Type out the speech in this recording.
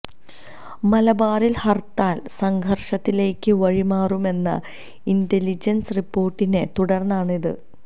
മലബാറിൽ ഹർത്താൽ സംഘർഷത്തിലേക്ക് വഴിമാറുമെന്ന ഇന്റലിജൻസ് റിപ്പോർട്ടിനെ തുടർന്നാണ് ഇത്